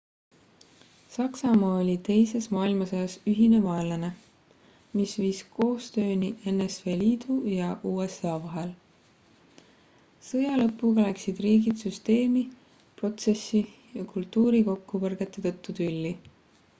saksamaa oli teises maailmasõjas ühine vaenlane mis viis koostööni nsvl-i ja usa vahel sõja lõpuga läksid riigid süsteemi protsessi ja kultuuri kokkupõrgete tõttu tülli